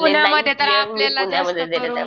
पुण्यामध्ये तर आपल्याला जास्त करून